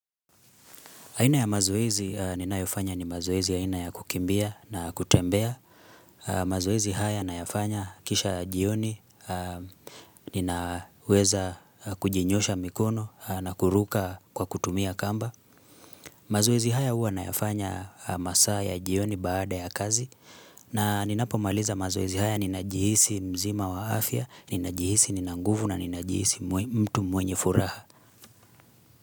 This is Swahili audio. Aina ya mazoezi ninayofanya ni mazoezi ya aina ya kukimbia na kutembea mazoezi haya nayafanya kisha jioni Ninaweza kujinyoosha mikono na kuruka kwa kutumia kamba mazoezi haya huwa nayafanya masaa ya jioni baada ya kazi na ninapomaliza mazoezi haya ni najihisi mzima wa afya Ninajihisi nina nguvu na ninajihisi mtu mwenye furaha.